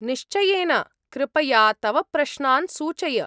निश्चयेन। कृपया तव प्रश्नान् सूचय।